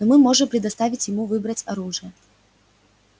но мы можем предоставить ему выбрать оружие